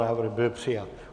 Návrh byl přijat.